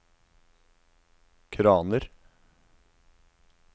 kraner